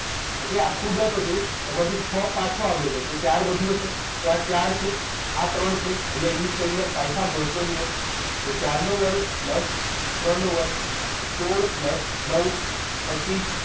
Okay આખું દસ હતું એમાંથી છ પાછો આવ્યો હતો તો ચાર વધ્યું હશે તો આ ચાર છે આ ત્રણ છે અહીંયા use કરી લો પાયથાગોરસનો નિયમ તો ચાર નો વર્ગ plus ત્રણ નો વર્ગ સોળ plus નવ પચીસ